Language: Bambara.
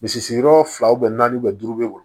Misi sigiyɔrɔ fila naani duuru bɛ wuli